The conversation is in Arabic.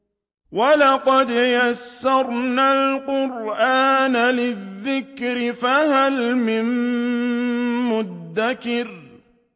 وَلَقَدْ يَسَّرْنَا الْقُرْآنَ لِلذِّكْرِ فَهَلْ مِن مُّدَّكِرٍ